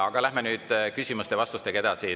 Aga läheme nüüd küsimuste ja vastustega edasi.